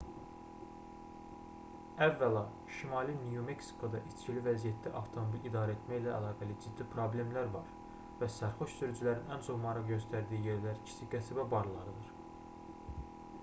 əvvəla şimali nyu-meksikoda içkili vəziyyətdə avtomobil idarəetmə ilə əlaqəli ciddi problemlər var və sərxoş sürücülərin ən çox maraq göstərdiyi yerlər kiçik qəsəbə barlarıdır